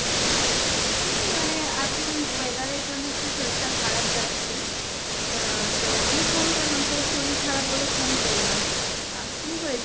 এমনি মানে এখন weather এর জন্য একটু শরীরটা খারাপ যাচ্ছে। আহ তো আমি phone করলাম তোর শরীর খারাপ বলে phone করলাম। আ কী হয়েছিল?